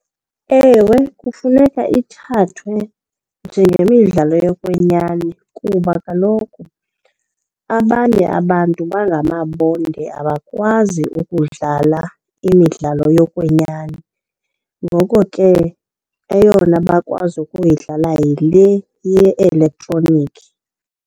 Ewe, kufuneka ithathwe njengemidlalo yokwenyani kuba kaloku abanye abantu bangamabonde abakwazi ukudlala imidlalo yokwenyani. Ngoko ke eyona bakwazi ukuyidlala yile ye-elektroniki.